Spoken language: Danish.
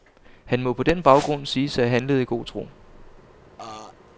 Han må på den baggrund siges af have handlet i god tro.